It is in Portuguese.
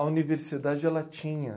A universidade, ela tinha.